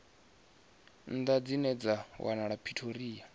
nnḓa dzine dza wanala pretoria